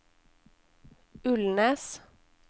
Ulnes